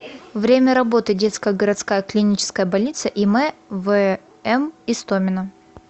время работы детская городская клиническая больница им вм истомина